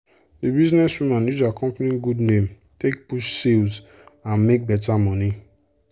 the businesswoman use her company good name take push sales and make better money.